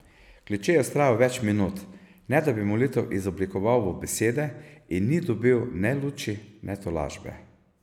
Kleče je vztrajal več minut, ne da bi molitev izoblikoval v besede, in ni dobil ne luči ne tolažbe.